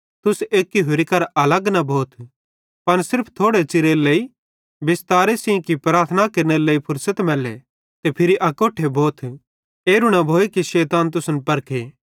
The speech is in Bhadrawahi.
तुस एक्की होरि करां अलग न भोथ पन सिर्फ थोड़े च़िरेरे लेइ बिस्तारे सेइं कि प्रार्थनारे लेइ फुर्सत मैल्ले ते फिरी अकोट्ठे भोथ कि एरू न भोए शैतान तुसन परखे